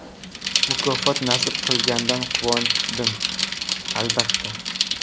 Mukofot nasib qilganidan quvondim, albatta.